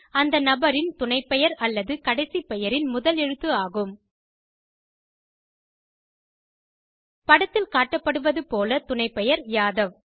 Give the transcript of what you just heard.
அந்த நபரின் துணைப்பெயர் அல்லது கடைசி பெயரின் முதல் எழுத்து ஆகும் படத்தில் காட்டப்படுவது போல துணைப்பெயர் யாதவ்